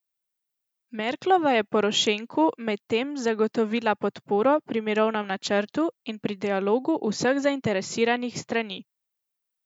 Merklova je Porošenku medtem zagotovila podporo pri mirovnem načrtu in pri dialogu vseh zainteresiranih strani.